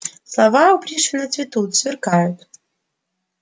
слова у пришвина цветут сверкают